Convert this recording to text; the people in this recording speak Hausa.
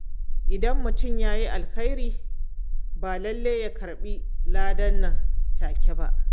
Idan mutum ya yi alheri, ba lallai ya karɓi lada nan take ba.